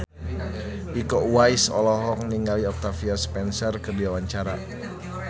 Iko Uwais olohok ningali Octavia Spencer keur diwawancara